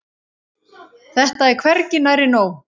Þetta er hvergi nærri nóg.